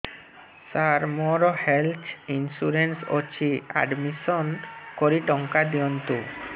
ସାର ମୋର health insurance ଅଛି admission କରି ଟଙ୍କା ଦିଅନ୍ତୁ